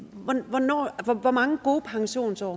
at høre hvor mange gode pensionsår